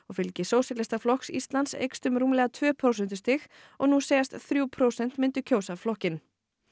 fylgi sósíalistaflokks Íslands eykst um rúmlega tvö prósentustig og nú segjast þrjú prósent myndu kjósa flokkinn